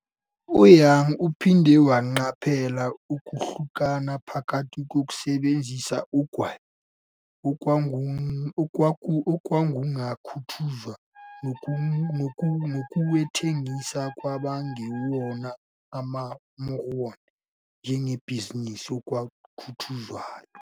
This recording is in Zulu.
U-Young uphinde waqaphela ukuhlukana phakathi kokusebenzisa ugwayi, okwakungakhuthazwa, nokuwuthengisa kwabangewona amaMormon njengebhizinisi, okwakhuthazwa.